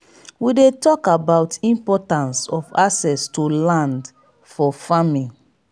we dey tok about importance of access to land for farming.